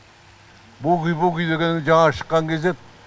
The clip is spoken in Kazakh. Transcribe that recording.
буги вуги дегеннің жаңа шыққан кезі еді